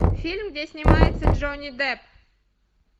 фильм где снимается джонни депп